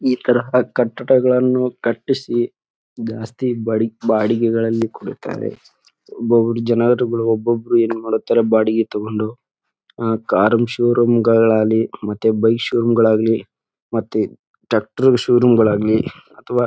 ಈ ತರಹ ಕಟ್ಟಡಗಳನ್ನು ಕಟ್ಟಿಸಿ ಜಾಸ್ತಿ ಬಾಡಿಗೆಗಳಿಗೆ ಗಳಲ್ಲಿ ಕೊಡುತ್ತಾರೆ. ಒಬ್ಬೊಬ್ರು ಜನರುಗಳು ಒಬ್ಬೊಬ್ರು ಏನ್ ಮಾಡ್ತಾರೆ ಬಾಡಿಗೆ ತಕ್ಕೊಂಡು ಕಾರ್ ನ ಶೋ ರೂಮ್ ಗಳಾಗಲಿ ಮತ್ತೆ ಬೈಕ್ ಶೋ ರೂಮ್ ಗಳಾಗಲಿ ಮತ್ತೆ ಟ್ರ್ಯಾಕ್ಟರ್ ಶೋ ರೂಮ್ ಗಳಾಗಲಿ ಅಥವಾ--